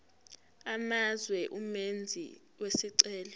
amazwe umenzi wesicelo